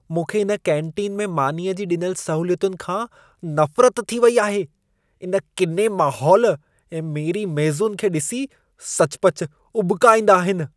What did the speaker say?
मूंखे इन केन्टीन में मानीअ जी ॾिनल सहूलियतुनि खां नफ़रत थी वेई आहे। इन किने माहौल ऐं मेरी मेज़ुनि खे ॾिसी सचुपचु उॿिका ईंदा आहिनि।